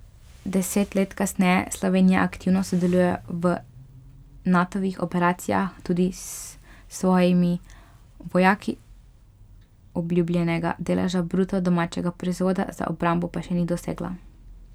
Deset let kasneje Slovenija aktivno sodeluje v Natovih operacijah, tudi s svojimi vojaki, obljubljenega deleža bruto domačega proizvoda za obrambo pa še ni dosegla.